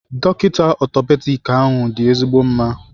Dọkịta Orthopedic ahụ dị ezigbo mma